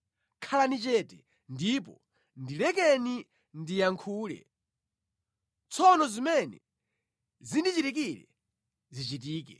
“Khalani chete ndipo ndilekeni ndiyankhule; tsono zimene zindichitikire zichitike.